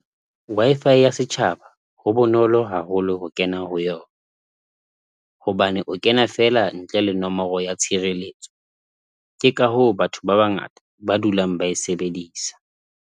Wi-Fi ya setjhaba ho bonolo haholo ho kena ho yona hobane o kena feela ntle le nomoro ya tshireletso, ke ka hoo batho ba bangata ba dulang ba e sebedisa.